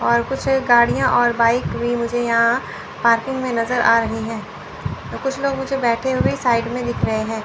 और कुछ गाड़ियां और बाइक भी मुझे यहां पार्किंग में नजर आ रही है तो कुछ लोग मुझे बैठे हुए साइड में दिख रहे हैं।